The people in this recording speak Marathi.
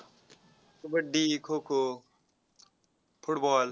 कबड्डी, खो-खो, football